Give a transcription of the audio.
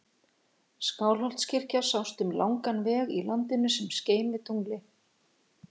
Skálholtskirkja sást um langan veg í landinu sem skein við tungli.